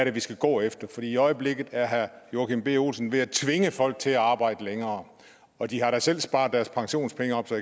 er vi skal gå efter for i øjeblikket er herre joachim b olsen ved at tvinge folk til at arbejde længere og de har da selv sparet deres pensionspenge op så